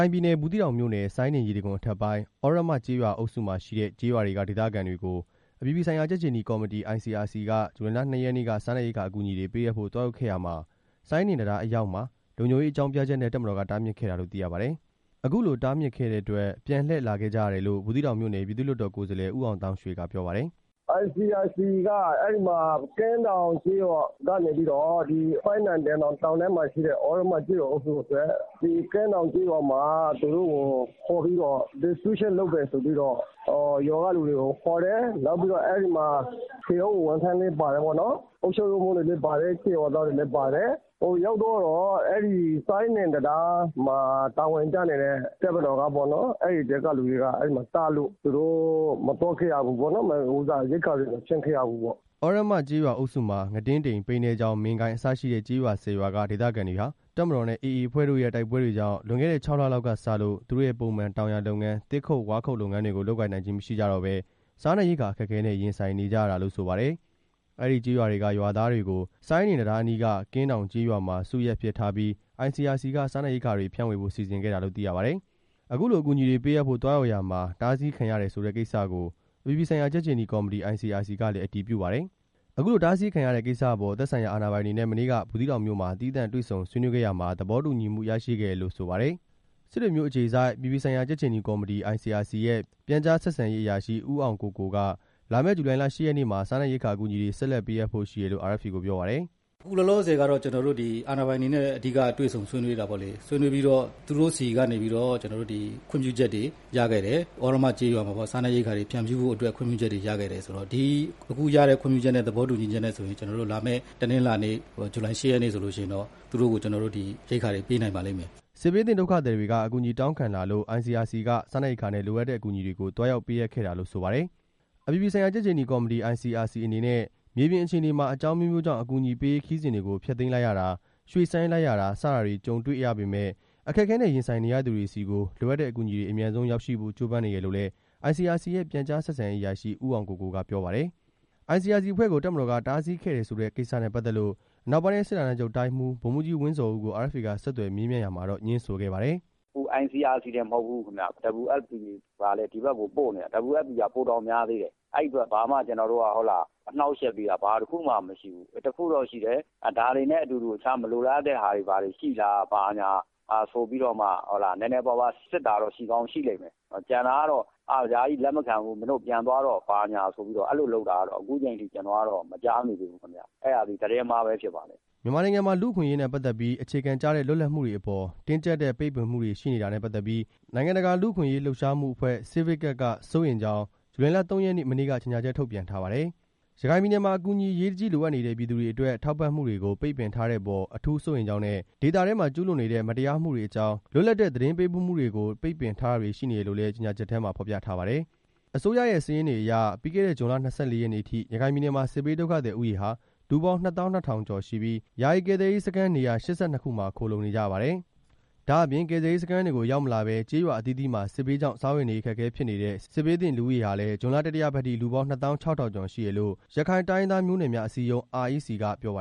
ိုင်ပြည်နယ် ဘူးသီးတောင်မြို့နယ် စိုင်းဒင်ရေတံခွန်အထက်ပိုင်း သြရမကျေးရွာအုပ်စုမှာရှိတဲ့ ကျေးရွာတွေက ဒေသခံတွေကို အပြည်ပြည်ဆိုင်ရာကြက်ခြေနီကော်မတီ ICRC က ဇူလိုင်လ ၂ ရက်နေ့က စားနပ်ရိက္ခာအကူအညီတွေပေးအပ်ဖို့သွားရောက်ခဲ့ရာမှာ စိုင်းဒင်တံတားအရောက်မှာ လုံခြုံရေးအကြောင်းပြချက်နဲ့ တပ်မတော်က တားမြစ်ခဲ့တာလို့ သိရပါတယ်။ အခုလိုတားမြစ်ခဲ့တဲ့အတွက် ပြန်လှည့်လာခဲ့ကြရတယ်လို့ ဘူးသီးတောင်မြို့နယ် ပြည်သူ့လွှတ်တော် ကိုယ်စားလှယ် ဦးအောင်သောင်းရွှေ က ပြောပါတယ်။ “ICRC က သြရမကျေးရွာအုပ်စုအတွက် ကင်းတောင်ကျေးရွာမှာခေါ်ပြီး စားနပ်ရိက္ခာဖြန့်မယ်ဆိုပြီးတော့ ရွာကလူတွေကိုခေါ်တယ်။ အဲဒီမှာ ထွေအုပ်ဝန်ထမ်းတွေလည်းပါတယ်။ အုပ်ချုပ်ရေးမှူးတွေလည်းပါတယ်။ ကျေးရွာသားတွေလည်းပါတယ်။ ဟိုကိုရောက်သွားတော့ စိုင်းဒင်တံတားမှာ တာဝန်ကျနေတဲ့ တပ်မတော်ကပေါ့နော်၊ အဲဒီမှာတားလို့ သူတို့မသွားခဲ့ရဘူးပေါ့နော်။ ရိက္ခာတွေကို မဖြန့်ခဲ့ရဘူးပေါ့” သြရမကျေးရွာအုပ်စုမှာ ငတင်းတိမ်၊ ပိန္နဲချောင်း၊ မင်းကိုင်း အစရှိတဲ့ ကျေးရွာ ၁၀ ရွာက ဒေသခံတွေဟာ တပ်မတော်နဲ့ AA အဖွဲ့တို့ရဲ့တိုက်ပွဲတွေကြောင့် လွန်ခဲ့တဲ့ ၆ လလောက်ကစလို့ သူတို့ရဲ့ပုံမှန် တောင်ယာလုပ်ငန်း၊ သစ်ဝါးခုတ်လုပ်ငန်းတွေကို လုပ်ကိုင်နိုင်ခြင်း မရှိကြတော့ဘဲ စားနပ်ရိက္ခာအခက်အခဲနဲ့ ရင်ဆိုင်နေကြရတာလို့ ဆိုပါတယ်။ အဲဒီကျေးရွာတွေက ရွာသားတွေကို စိုင်းဒင်တံတားအနီးက ကင်းတောင်ကျေးရွာမှာ စုရပ်အဖြစ်ထားပြီး ICRC က စားနပ်ရိက္ခာတွေဖြန့်ဝေဖို့ စီစဉ်ခဲ့တာလို့ ဆိုပါတယ်။ အခုလိုအကူအညီတွေပေးအပ်ဖို့ သွားရောက်ရာမှာ တားဆီးခံရတယ်ဆိုတဲ့ကိစ္စကို အပြည်ပြည်ဆိုင်ရာ ကြက်ခြေနီကော်မတီ ICRC ကလည်း အတည်ပြုပါတယ်။ အခုလိုတားဆီးခံရတဲ့ကိစ္စအပေါ် သက်ဆိုင်ရာအာဏာပိုင်တွေနဲ့ မနေ့က ဘူးသီးတောင်မြို့မှာ သီးသန့်တွေ့ဆုံ ဆွေးနွေးခဲ့ရာမှာ သဘောတူညီမှုရခဲ့တယ်လို့ ဆိုပါတယ်။ စစ်တွေမြို့အခြေစိုက် အပြည်ပြည်ဆိုင်ရာ ကြက်ခြေနီကော်မတီ ICRC ရဲ့ ပြန်ကြားဆက်ဆံရေးအရာရှိ ဦးအောင်ကိုကို က လာမယ့် ဇူလိုင်လ ၈ ရက်နေ့မှာ စားနပ်ရိက္ခာအကူအညီတွေ ဆက်လက်ပေးအပ်ဖို့ ရှိတယ်လို့ RFA ကိုပြောပါတယ်။ “အခုလောလောဆယ်ကတော့ ကျွန်တော်တို့က အာဏာပိုင်တွေနဲ့ အဓိကတွေ့ဆုံဆွေးနွေးတာပေါ့လေ။ ဆွေးနွေးပြီးတော့ သူတို့ဆီက ခွင့်ပြုချက်တွေရခဲ့တယ်။ သြရမကျေးရွာအုပ်စုမှာ စားနပ်ရိက္ခာတွေ ဖြန့်ဖြူးဖို့ ခွင့်ပြုချက်တွေရခဲ့တယ်ဆိုတော့ အခုရတဲ့ခွင့်ပြုချက်နဲ့ သဘောတူညီချက်နဲ့ဆိုလို့ရှိရင် လာမယ့်တနင်္လာနေ့ ဇူလိုင် ၈ ရက်နေ့ဆိုလို့ရှိရင်တော့ သူတို့ကို ကျွန်တော်တို့ ရိက္ခာတွေပေးနိုင်ပါလိမ့်မယ်” စစ်ဘေးသင့်ဒုက္ခသည်တွေက အကူအညီတောင်းခံလာလို့ ICRC က စားနပ်ရိက္ခာနဲ့ လိုအပ်တဲ့အကူအညီတွေကို သွားရောက်ပေးအပ်ခဲ့တာလို့ဆိုပါတယ်။ အပြည်ပြည်ဆိုင်ရာ ကြက်ခြေနီကော်မတီ ICRC အနေနဲ့ မြေပြင်အခြေအနေမှာ အကြောင်းအမျိုးမျိုးကြောင့် အကူအညီပေးရေးခရီးစဉ်တွေကို ဖျက်သိမ်းလိုက်ရတာ၊ ရွှေ့ဆိုင်းလိုက်ရတာ စတာတွေကြုံတွေ့ရပေမယ့် အခက်အခဲနဲ့ ရင်ဆိုင်နေရသူတွေဆီကို လိုအပ်တဲ့အကူအညီတွေ အမြန်ဆုံးရောက်ရှိဖို့ ကြိုးပမ်းနေတယ်လို့လည်း ICRC ရဲ့ ပြန်ကြားဆက်ဆံရေးအရာရှိ ဦးအောင်ကိုကိုက ပြောပါတယ်။ ICRC အဖွဲ့ကို တပ်မတော်က တားဆီးခဲ့တယ်ဆိုတဲ့ကိစ္စနဲ့ ပတ်သက်လို့ အနောက်ပိုင်းတိုင်းစစ်ဌာနချုပ် တိုင်းဦး ဗိုလ်မှူးကြီး ဝင်းဇော်ဦးကို RFA က ဆက်သွယ်မေးမြန်းခဲ့ရာမှာတော့ ငြင်းဆိုခဲ့ပါတယ်။ “ICRC တင်မဟုတ်ဘူးဗျ WFP ကလည်း ဒီဘက်ကိုပို့နေတာ။ WFP ကဆိုရင် ပိုတောင်များသေးတယ်။ အဲဒီအတွက် ဘာမှကိုကျွန်တော်တို့က အနှောင့်အယှက်တွေက ဘာတစ်ခုမှမရှိဘူး။ အဲတစ်ခုတော့ရှိတယ်။ ဒါတွေနဲ့အတူ တခြားမလိုလားအပ်တဲ့ဟာတွေ ဘာညာရှိလားဆိုပြီးတော့မှ နည်းနည်းပါးပါးစစ်တာတော့ ရှိကောင်းရှိလိမ့်မယ်။ ကျန်တာကတော့ ဒါကြီးကိုလက်မခံဘူး၊ မင်းတို့ပြန်သွားတော့ ဘာညာဆိုပြီးတော့ အဲလိုလုပ်တာကတော့ ကျွန်တော်က အခုအချိန်အထိ မကြားမိသေးဘူးခင်ဗျ။ အဲဒါက သတင်းမှား ပဲဖြစ်ပါလိမ့်မယ်” မြန်မာနိုင်ငံမှာ လူ့အခွင့်အရေးနဲ့ ပတ်သက်ပြီး အခြေခံကျတဲ့ လွတ်လပ်မှုတွေအပေါ် တင်းကျပ်တဲ့ ပိတ်ပင်မှုတွေရှိနေတာနဲ့ ပတ်သက်ပြီး နိုင်ငံတကာ လူ့အခွင့်အရေးလှုပ်ရှားမှုအဖွဲ့ Civicus က စိုးရိမ်ကြောင်း ဇူလိုင်လ ၃ ရက်နေ့ မနေ့က ကြေညာချက် ထုတ်ပြန်ထားပါတယ်။ ရခိုင်ပြည်နယ်မှာ အကူအညီအရေးတကြီး လိုအပ်နေတဲ့ ပြည်သူတွေအတွက် ထောက်ပံ့မှုတွေကို ပိတ်ပင်ထားတဲ့အပေါ် အထူးစိုးရိမ်ကြောင်းနဲ့ ဒေသထဲမှာ ကျူးလွန်နေတဲ့ မတရားမှုတွေအကြောင်း လွတ်လပ်တဲ့ သတင်းပေးပို့မှုတွေကို ပိတ်ပင်ထားတာတွေ ရှိနေတယ်လို့လည်း ကြေညာချက်ထဲမှာ ဖော်ပြထားပါတယ်။ အစိုးရရဲ့စာရင်းတွေအရ ပြီးခဲ့တဲ့ ဇွန်လ ၂၄ ရက်နေ့အထိ ရခိုင်ပြည်နယ်မှာ စစ်ဘေးဒုက္ခသည်ဦးရေဟာ လူပေါင်းနှစ်သောင်းနှစ်ထောင်ကျော်ရှိပြီး ယာယီကယ်ဆယ်ရေးစခန်းနေရာ ၈၂ ခုမှာ ခိုလှုံနေကြရပါတယ်။ ဒါ့အပြင် ကယ်ဆယ်ရေးစခန်းတွေကို ရောက်မလာဘဲ ကျေးရွာအသီးသီးမှာ စစ်ဘေးကြောင့် စားဝတ်နေရေး အခက်အခဲဖြစ်နေတဲ့ စစ်ဘေးသင့်လူဦးရေဟာလည်း ဇွန်လ တတိယပတ်အထိ လူပေါင်း နှစ်သောင်း ခြောက်ထောင်ကျော်ရှိတယ်လို့ ရခိုင်တိုင်းရင်းသားမျိုးနွယ်များ အစည်းအရုံး REC ကပြောပါ